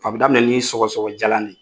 A bɛ daminɛ ni sɔgɔsɔgɔ jalan de ye !